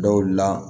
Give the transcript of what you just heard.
Dɔw la